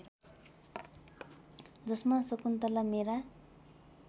जसमा शकुन्तला मेरा